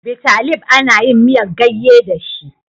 Bitalib ana yin miyar gayye da shi.